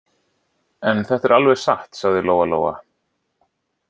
En þetta er alveg satt, sagði Lóa-Lóa.